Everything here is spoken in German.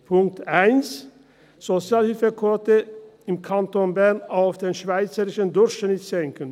Punkt 1, Sozialhilfequote im Kanton Bern auf den schweizerischen Durchschnitt senken: